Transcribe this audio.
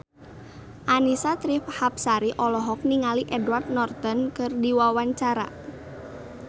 Annisa Trihapsari olohok ningali Edward Norton keur diwawancara